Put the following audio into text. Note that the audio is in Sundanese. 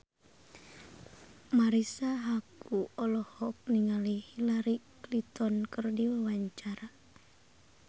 Marisa Haque olohok ningali Hillary Clinton keur diwawancara